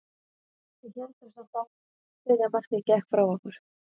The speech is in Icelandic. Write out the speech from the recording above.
Við héldum samt áfram, en þriðja markið gekk frá okkur.